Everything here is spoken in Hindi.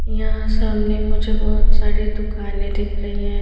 यहां सामने मुझे बहुत सारी दुकानें दिख रही हैं।